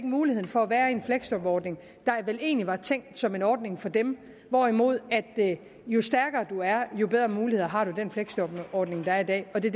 mulighed for at være i en fleksjobordning der vel egentlig var tænkt som en ordning for dem hvorimod jo stærkere man er jo bedre muligheder har man i den fleksjobordning der er i dag det